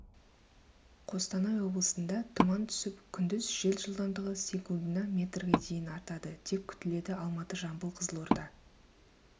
қостанай облысында тұман түсіп күндіз жел жылдамдығы секундына метрге дейін артады деп күтіледі алматы жамбыл қызылорда